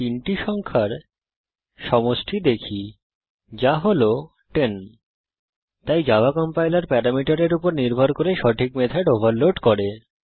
তাই Java compiler প্যারামিটারের উপর নির্ভর করে সঠিক মেথড ওভারলোড করে